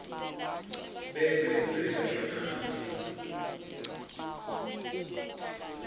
bese utsela emanti